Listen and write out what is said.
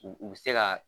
U u bi se ka